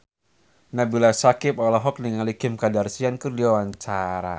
Nabila Syakieb olohok ningali Kim Kardashian keur diwawancara